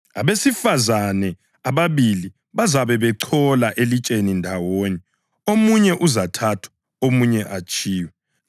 Abesifazane ababili bazabe bechola elitsheni ndawonye; omunye uzathathwa omunye atshiywe. [